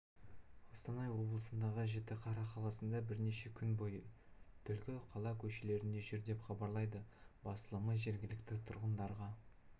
қостанай облысындағы жітіқара қаласында бірнеше күн бойы түлкі қала көшелерінде жүр деп хабарлайды басылымы жергілікті тұрғындарға